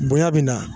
Bonya bi na